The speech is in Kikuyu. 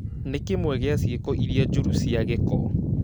Nĩ kĩmwe gĩa ciĩko iria njũru na cia gĩko